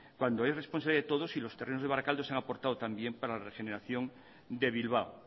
cuando es responsabilidad de todos y los terrenos de barakaldo se han aportado también para la regeneración de bilbao